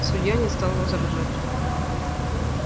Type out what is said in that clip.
судья не стал возражать